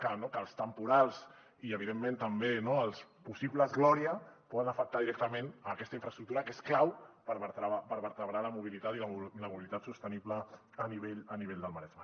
que els temporals i evidentment també els possibles gloria poden afectar directament aquesta infraestructura que és clau per vertebrar la mobilitat i la mobilitat sostenible a nivell del maresme